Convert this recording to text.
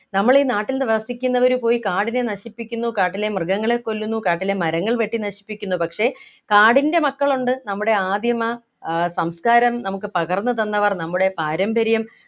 നമ്മൽ ഈ നാട്ടിൽ വസിക്കുന്നവര് പോയി കാടിനെ നശിപ്പിക്കുന്നു കാട്ടിലെ മൃഗങ്ങളെ കൊല്ലുന്നു കാട്ടിലെ മരങ്ങൾ വെട്ടി നശിപ്പിക്കുന്നു പക്ഷേ കാടിൻ്റെ മക്കളുണ്ട് നമ്മുടെ ആദിമ ആഹ് സംസ്കാരം നമുക്ക് പകർന്നു തന്നവർ നമ്മുടെ പാരമ്പര്യം